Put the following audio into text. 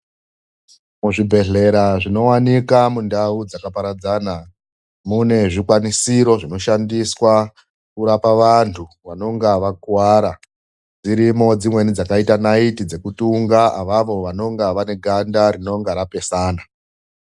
Muzvibhehlera zvinowanika mundawu dzakaparaadzana, mune zvikwanisiro zvinoshandiswa kurapa vantu vanonga vakuwara. Dzirimwo dzimweni dzakaita naiti dzekutunga avavo venenga vaneganda rinonga rapesana.